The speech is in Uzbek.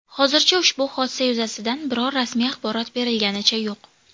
Hozircha ushbu hodisa yuzasidan biror rasmiy axborot berilganicha yo‘q.